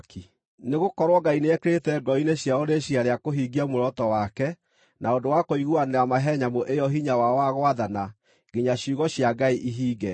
Nĩgũkorwo Ngai nĩekĩrĩte ngoro-inĩ ciao rĩciiria rĩa kũhingia muoroto wake na ũndũ wa kũiguanĩra mahe nyamũ ĩyo hinya wao wa gwathana, nginya ciugo cia Ngai ihinge.